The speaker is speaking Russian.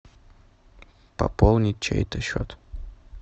пополнить чей то счет